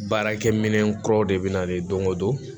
Baarakɛ minɛn kuraw de bɛ na don o don